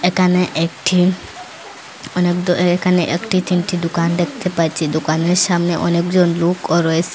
এখানে এখটি অনেক দো এখানে একটি তিনটি দুকান দেকতে পাচ্চি দুকানের সামনে অনেকজন লোকও রয়েসে।